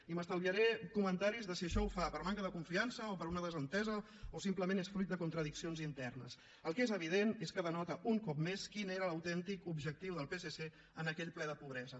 i m’estalviaré comentaris de si això ho fa per manca de confiança o per una desentesa o simplement és fruit de contradiccions internes el que és evident és que denota un cop més quin era l’autèntic objectiu del psc en aquell ple de la pobresa